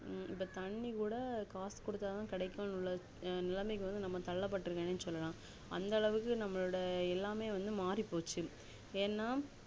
ஹம் இப்போ தண்ணி கூட காசு குடுத்து தான் கெடைக்கும் உள்ள நெலமைக்கு நம்ம வந்து தள்ளபட்டுருக்க்கலாம்னே சொல்லலாம் அந்த அளவுக்கு நம்முடைய எல்லாமே மாறிபோச்சு ஏனா